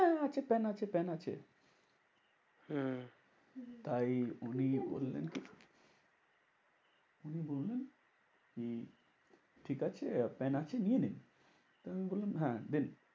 হ্যাঁ আছে পেন আছে পেন আছে হম তা এই উনি বললেন কি? উনি বললেন কি ঠিকাছে পেন আছে নিয়ে নিন। আমি বললাম হ্যাঁ দিন।